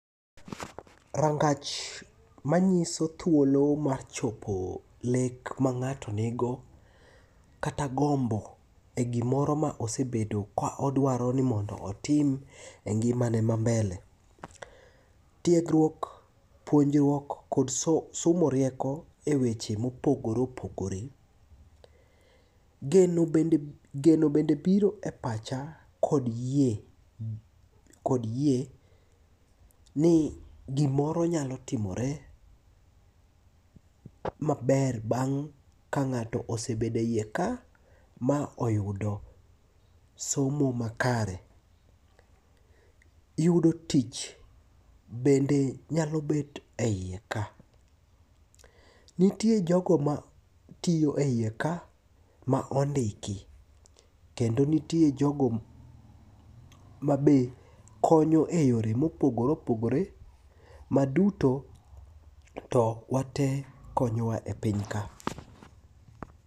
Rangach manyiso thuolo ma chopo lek ma ng'ato nigo kata gombo e gimoro ma osebedo ka odwaro ni mondo otim e ngimane ma mbele. Tiegruok, puonjruok kod somo rieko e weche mopogore opogore, geno bende biro e pacha kod yie ni gimoro nyalo timore maber bang' ka ng'ato osebede iye ka ma oyudo somo makare. Yudo tich bende nyalo bet e iye ka. Nitie jogo ma tiyo e iye ka ma ondiki kendo nitie jogo mabe konyo e yore mopogore opogore ma duto to wate konyowa e piny ka.